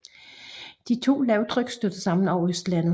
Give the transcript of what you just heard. De to lavtryk stødte sammen over Østlandet